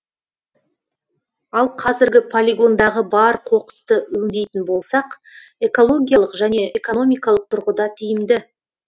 ал қазіргі полигондағы бар қоқысты өңдейтін болсақ экологиялық және экономикалық тұрғыда тиімді